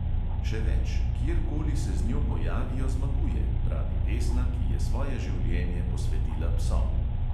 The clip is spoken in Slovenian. Še več, kjerkoli se z njo pojavijo, zmaguje, pravi vesna, ki je svoje življenje posvetila psom.